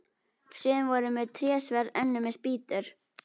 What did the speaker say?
Sum voru með trésverð, önnur með spýtur.